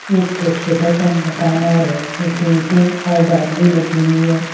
एक छोटा सा मकान और है जिसपे ईंटें और बालू लगी हुई है।